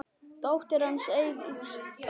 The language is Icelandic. Dóttir hans Eydís Örk.